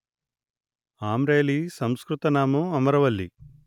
ఆంరేలి సంస్కృత నామం అమరవల్లి